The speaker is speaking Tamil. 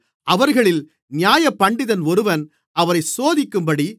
அவர்களில் நியாயப்பண்டிதன் ஒருவன் அவரைச் சோதிக்கும்படி